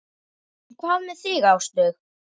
En hvað með þig Áslaug?